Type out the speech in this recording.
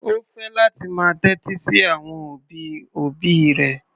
Ó fẹ́ láti máa tẹ́tí sí àwọn òbí-òbí rẹ̀.